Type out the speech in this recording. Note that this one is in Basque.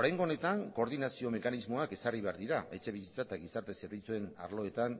oraingo honetan koordinazio mekanismoak ezarri behar dira etxebizitza eta gizarte zerbitzuen arloetan